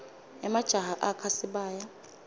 emajaha akha sibaya